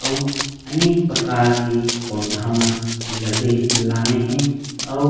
अऊ अनेक प्रकर के पौधा मन लगे हे लाने हे अऊ--